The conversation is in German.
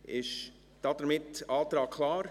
Ist damit der Antrag klar?